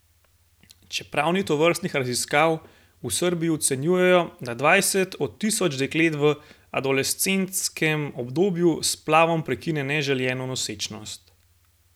Čeprav ni tovrstnih raziskav, v Srbiji ocenjujejo, da dvajset od tisoč deklet v adolescentskem obdobju s splavom prekine neželjeno nosečnost.